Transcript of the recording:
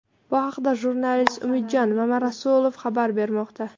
Bu haqda jurnalist Umidjon Mamarasulov xabar bermoqda.